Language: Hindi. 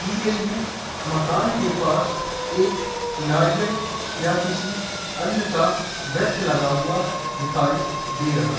दी गई है मकान के पास एक नारियल या किसी अन्य का वृक्ष लगा हुआ दिखाई दे रहा हैं।